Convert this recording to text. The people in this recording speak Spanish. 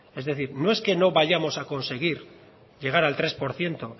es decir no es que no vayamos a conseguir llegar al tres por ciento